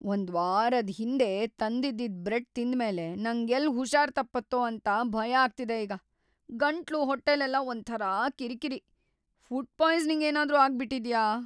ಒಂದ್ವಾರದ್ ಹಿಂದೆ ತಂದಿದ್ದಿದ್ ಬ್ರೆಡ್ ತಿಂದ್ಮೇಲೆ ನಂಗೆಲ್ಲ್‌ ಹುಷಾರ್‌ ತಪ್ಪತ್ತೋ ಅಂತ ಭಯ ಆಗ್ತಿದೆ ಈಗ. ಗಂಟ್ಲು, ಹೊಟ್ಟೆಲೆಲ್ಲ ಒಂಥರಾ ಕಿರ್ಕಿರಿ.. ಫುಡ್‌ ಪಾಯ್ಸನಿಂಗ್‌ ಏನಾದ್ರೂ ಆಗ್ಬಿಟಿದ್ಯಾ?